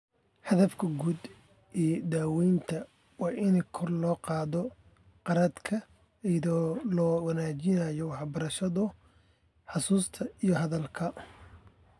Hadafka guud ee daawaynta waa in kor loo qaado garaadka iyada oo la wanaajinayo waxbarashada, xusuusta, iyo hadalka.